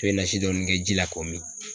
I bɛ nasi dɔɔni kɛ ji la k'o min